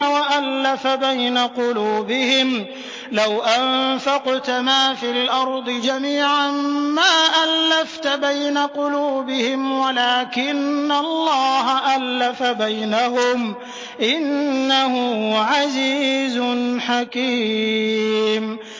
وَأَلَّفَ بَيْنَ قُلُوبِهِمْ ۚ لَوْ أَنفَقْتَ مَا فِي الْأَرْضِ جَمِيعًا مَّا أَلَّفْتَ بَيْنَ قُلُوبِهِمْ وَلَٰكِنَّ اللَّهَ أَلَّفَ بَيْنَهُمْ ۚ إِنَّهُ عَزِيزٌ حَكِيمٌ